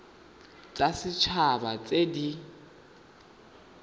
tsa set haba tse di